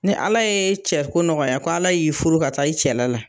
Ni ala ye cɛ ko nɔgɔya ko ala y'i furu ka taa i cɛla la